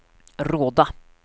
Råda